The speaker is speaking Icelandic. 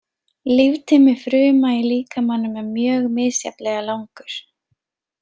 Líftími fruma í líkamanum er mjög misjafnlega langur.